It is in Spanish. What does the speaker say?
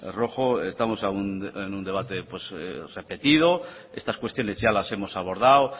rojo estamos en un debate repetido estas cuestiones ya las hemos abordado